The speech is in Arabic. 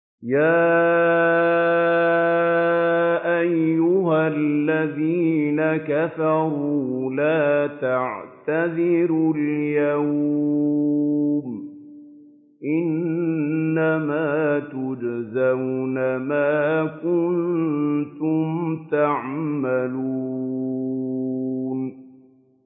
يَا أَيُّهَا الَّذِينَ كَفَرُوا لَا تَعْتَذِرُوا الْيَوْمَ ۖ إِنَّمَا تُجْزَوْنَ مَا كُنتُمْ تَعْمَلُونَ